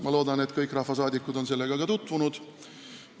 Ma loodan, et kõik rahvasaadikud on sellega tutvunud.